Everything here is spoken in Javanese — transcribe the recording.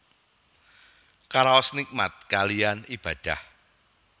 Karaos nikmat kaliyan Ibadah